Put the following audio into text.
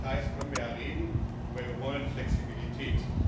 Über die Details können wir reden, aber wir wollen Flexibilität.